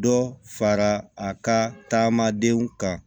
Dɔ fara a ka tagamadenw kan